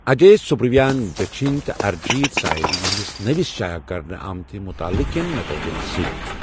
اَجے سُبَرویان دٔچِھنۍ تہٕ أرِجیٖت سامل یِہِنٛدس نٔوس شایع کرنہٕ آمتہ مُطالعہ کٮ۪ن نتٲیجن سۭتۍ۔